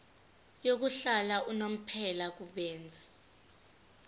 yokuhlala unomphela kubenzi